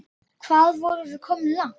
Hvað vorum við komin langt?